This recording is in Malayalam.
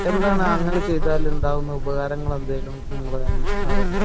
എന്താണ് അങ്ങനെ ചെയ്താല് ഉണ്ടാകുന്ന ഉപകാരങ്ങൾ എന്തേലും അറിയുമോ ?